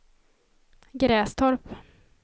Grästorp